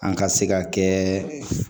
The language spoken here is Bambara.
An ka se ka kɛ